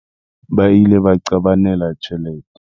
Ba ile ba qabanela tjhelete.